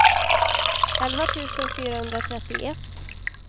elva tusen fyrahundratrettioett